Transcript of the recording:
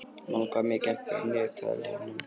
Malla, hvað er mikið eftir af niðurteljaranum?